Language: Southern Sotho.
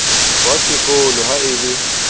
wa sekolo ha a le